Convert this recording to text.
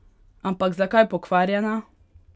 Ampak zakaj pokvarjena?